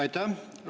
Aitäh!